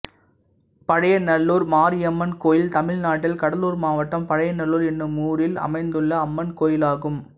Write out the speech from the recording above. பழையநல்லூர் மாரியம்மன் கோயில் தமிழ்நாட்டில் கடலூர் மாவட்டம் பழையநல்லூர் என்னும் ஊரில் அமைந்துள்ள அம்மன் கோயிலாகும்